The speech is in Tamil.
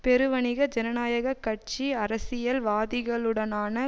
பெருவணிக ஜனநாயக கட்சி அரசியல் வாதிகளுடனான